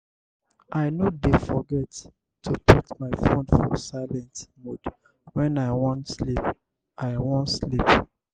i no dey forget to put my fone for silent mode wen i wan sleep. i wan sleep.